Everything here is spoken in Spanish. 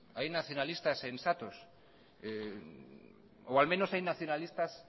hay nacionalistas sensatos o al menos hay nacionalistas